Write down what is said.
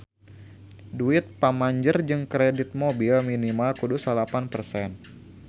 Duit pamanjer jang kredit mobil minimal kudu salapan persen